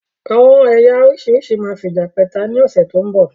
Àwọn ẹ̀yà oríṣiríṣi máa fija pẹ́ta ni ọ̀sẹ̀ tó ń bọ̀